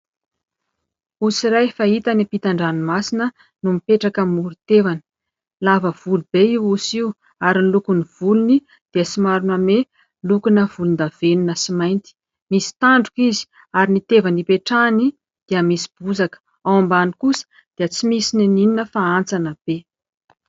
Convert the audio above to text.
Osy iray fahita any ampitan-dranomasina no mipetraka amoron-tevana. Lava volo be io osy io, ary ny lokon'ny volony dia somary manome lokona volondavenona sy mainty. Misy tandroka izy, ary ny tevana ipetrahany dia misy bozaka. Ao ambany kosa dia tsy misy na inona na inona fa hantsana be.